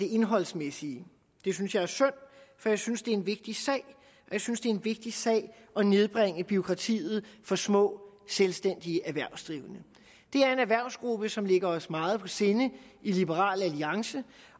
det indholdsmæssige det synes jeg er synd for jeg synes det er en vigtig sag jeg synes det er en vigtig sag at nedbringe bureaukratiet for små selvstændige erhvervsdrivende det er en erhvervsgruppe som ligger os meget på sinde i liberal alliance